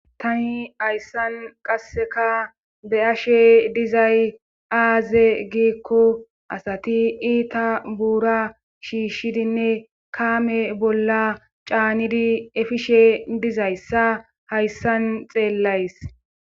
Tani hayssan qasseka be ashe dizay aaze giikko asati iita buura shiishshidinne kaame bolla caanidi efishe dizayssa hayssan xeellays.